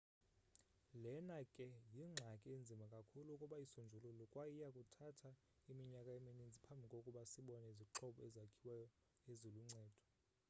lena ke yingxaki enzima kakhulu ukuba isonjululwe kwaye iyakuthatha iminyaka emininzi phambi kokuba sibone izixhobo ezakhiweyo eziluncedo